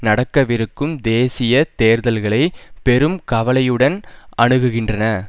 நடக்கவிருக்கும் தேசிய தேர்தல்களை பெரும் கவலையுடன் அணுகுகின்றன